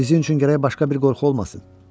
Sizin üçün gərək başqa bir qorxu olmasın.